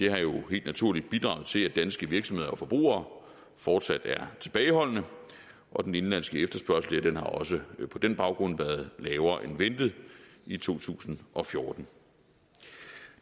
har jo helt naturligt bidraget til at danske virksomheder og forbrugere fortsat er tilbageholdende og den indenlandske efterspørgsel har også på den baggrund været lavere end ventet i to tusind og fjorten